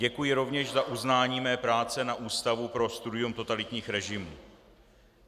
Děkuji rovněž za uznání mé práce na Ústavu pro studium totalitních režimů.